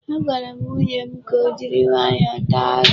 Agwara m nwunye m ka o jiri nwayọọ taa azụ.